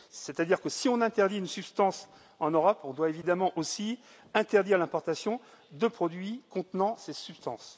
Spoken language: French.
C'est à dire que si on interdit une substance en Europe, on doit évidemment aussi interdire l'importation de produits contenant cette substance.